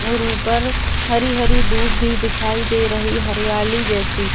और ऊपर हरी हरी धुप भी दिखाई दे रही हरियाली जैसी।